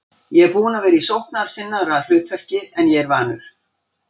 Ég er búinn að vera í sóknarsinnaðra hlutverki en ég er vanur.